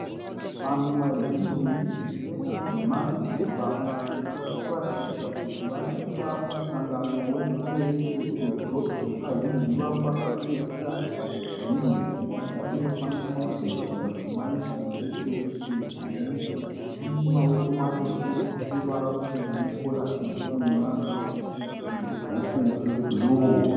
Vanhu vazhinji vechidzimai varikuratidza kuti vari pamusangano we kereke, sezvo vazhinji vavo vakapfeka hembe dzakada kundofanana zvinoratidza kuti ma uniform ekereke. Ane maoko marefu neruvara ruchena ne kora dze bhuruu ne ma dhuku e bhuruu.